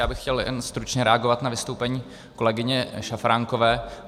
Já bych chtěl jen stručně reagovat na vystoupení kolegyně Šafránkové.